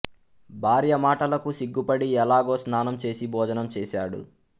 భార్య మాటలకు సిగ్గుపడి ఎలాగో స్నానం చేసి భోజనం చేసాడు